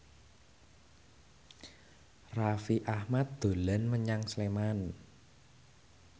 Raffi Ahmad dolan menyang Sleman